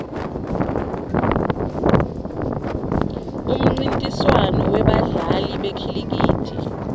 umnrintiswano webadla li bekhilikithi